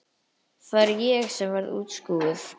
Það er ég sem verð útskúfuð.